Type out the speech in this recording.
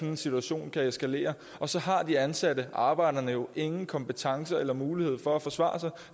en situation kan eskalere og så har de ansatte arbejderne jo ingen kompetence eller mulighed for at forsvare sig